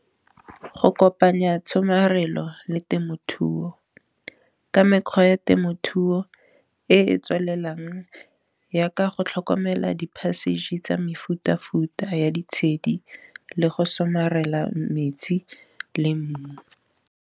Go kopanya tshomarelo le temothuo ka mekgwa ya temothuo e e tswelelang, jaaka go tlhokomela di-passage tsa mefuta-futa ya ditshedi, le go somarela metsi le mmu.